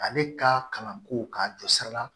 Ale ka kalanko k'a jɔsira la